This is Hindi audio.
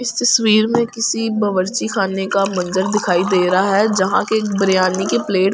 इस तस्वीर में किसी बवर्ची खाने का मंजर दिखाई दे रहा है जहां के बिरयानी की प्लेट पड़ी हुई ।